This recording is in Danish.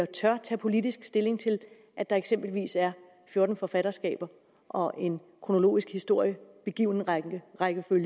tør tage politisk stilling til at der eksempelvis er fjorten forfatterskaber og en kronologisk historie